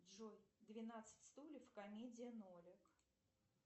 джой двенадцать стульев комедия нолик